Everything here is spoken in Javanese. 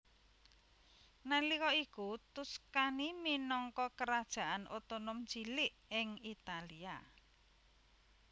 Nalika iku Tuscany minangka kerajaan otonom cilik ing Italia